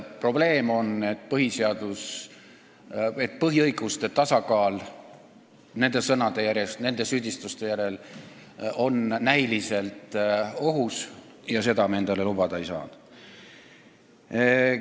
Probleem on selles, et põhiõiguste tasakaal on nende sõnade, nende süüdistuste järel näiliselt ohus ja seda me endale lubada ei saa.